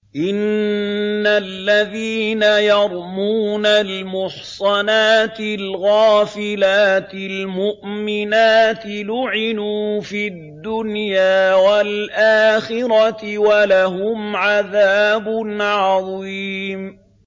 إِنَّ الَّذِينَ يَرْمُونَ الْمُحْصَنَاتِ الْغَافِلَاتِ الْمُؤْمِنَاتِ لُعِنُوا فِي الدُّنْيَا وَالْآخِرَةِ وَلَهُمْ عَذَابٌ عَظِيمٌ